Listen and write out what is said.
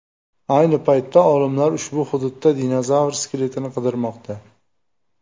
Ayni paytda olimlar ushbu hududda dinozavr skeletini qidirmoqda.